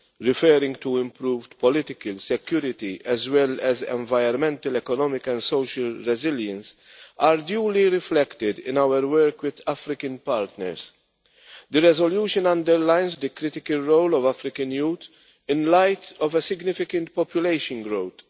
referring to improved political security as well as environmental, economic and social resilience, are duly reflected in our work with African partners. The resolution underlines the critical role of African youth in light of a significant population growth.